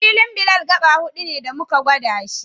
Filin Bilal gaɓa huɗu ne da muka gwada shi